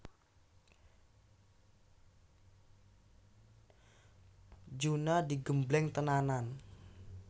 Juna digembleng tenanan